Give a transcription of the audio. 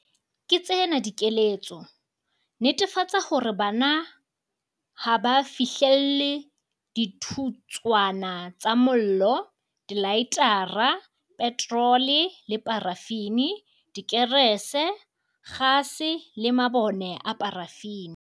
Ke tsena dikeletso- Netefatsa hore bana ha ba fihlelle dithutswana tsa mollo, dilaetara, petrole le parafini, dikerese, kgase le mabone a parafini.